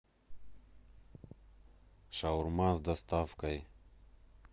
шаурма с доставкой